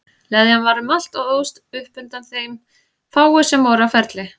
Leðjan var um allt og óðst upp undan þeim fáu sem voru á ferli.